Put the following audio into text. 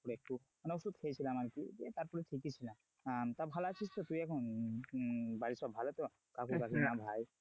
করে একটু মানে ওষুধ খেয়েছিলাম আর কি তারপরে ঠিকই ছিলাম আহ তা ভালো আছিস তো তুই এখন? আহ বাড়ির সব ভালো তো কাকু কাকিমা ভাই?